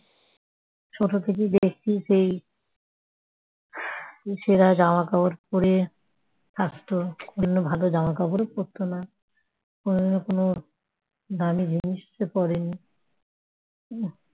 ছোট থেকে দেখছি সেই ছেঁড়া জামা কাপড় পড়ে থাকতো । কোনদিনও ভালো জামা কাপড় পড়তো না। কোনদিনও কোনো দামি জিনিসও পড়েনি ।